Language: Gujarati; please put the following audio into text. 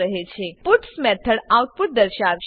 પટ્સ પુટ્સ મેથડ આઉટપુટ દર્શાવશે